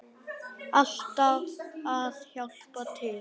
Alltaf að hjálpa til.